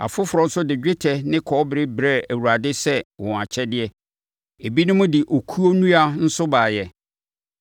Afoforɔ nso de dwetɛ ne kɔbere brɛɛ Awurade sɛ wɔn akyɛdeɛ. Ebinom de okuo nnua nso baeɛ.